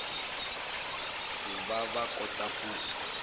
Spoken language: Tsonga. ku va va kota ku